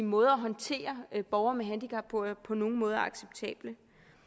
måder at håndtere borgere med handicap på er på nogen måde acceptabel